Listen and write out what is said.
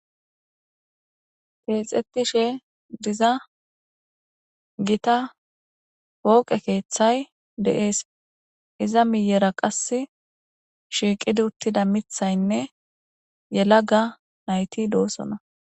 keexxetishe diza gita wooqe keeththay deees iza miyera qass shiiqid uttida mithaynne yela ga nayti doosona